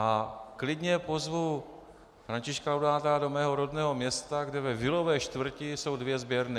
A klidně pozvu Františka Laudáta do mého rodného města, kde ve vilové čtvrti jsou dvě sběrny.